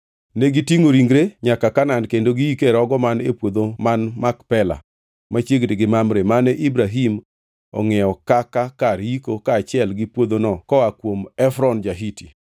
Negitingʼo ringre nyaka Kanaan kendo giike e rogo man e puodho man Makpela, machiegni gi Mamre, mane Ibrahim ongʼiewo kaka kar yiko kaachiel gi puodhono koa kuom Efron ja-Hiti.